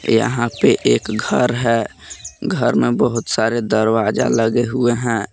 यहां पे एक घर है घर में बहुत सारे दरवाजा लगे हुए हैं